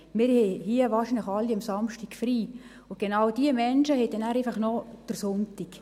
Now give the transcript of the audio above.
Wir haben hier wahrscheinlich alle am Samstag frei, und genau diese Menschen haben dann einfach noch den Sonntag.